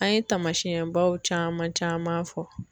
An ye taamasiyɛnbaw caman caman fɔ